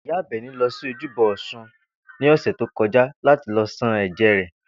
Ìyá Àbè̩ní lo̩ sí ojúbo̩ Ò̩sun ní ò̩sè̩ tó ko̩já láti lo̩ san è̩jé̩ rè̩